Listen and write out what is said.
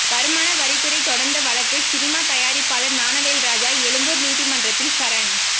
வருமான வரித்துறை தொடர்ந்த வழக்கு சினிமா தயாரிப்பாளர் ஞானவேல்ராஜா எழும்பூர் நீதிமன்றத்தில் சரண்